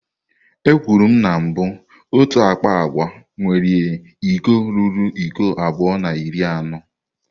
Ekwuru na mbụ otu akpa agwa nwere iko ruru iko abụọ na iri anọ.